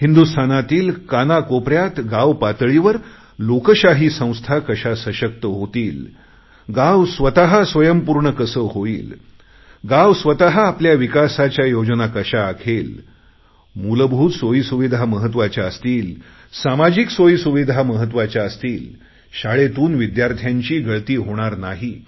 हिंदुस्थानातील कानाकोपऱ्यात गाव पातळीवर लोकशाही संस्था कशा सशक्त होतील गाव स्वयंपूर्ण कसं होईल गाव स्वत आपल्या विकासाच्या योजना कशा बनवेल मूलभूत सोयी सुविधा महत्वाच्या असतील सामाजिक सोयी सुविधा महत्त्वाच्या असतील शाळेतून विद्यार्थ्यांची गळती होणार नाही